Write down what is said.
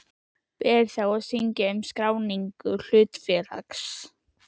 Ber þá að synja um skráningu hlutafélags.